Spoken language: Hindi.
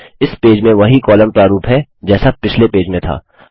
इस पेज में वही कॉलम प्रारूप है जैसा पिछले पेज में था